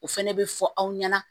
O fɛnɛ bɛ fɔ aw ɲɛna